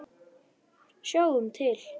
Sjáum til.